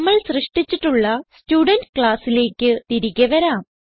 നമ്മൾ സൃഷ്ടിച്ചിട്ടുള്ള സ്റ്റുഡെന്റ് ക്ലാസ്സിലേക്ക് തിരികെ വരാം